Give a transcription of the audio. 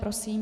Prosím.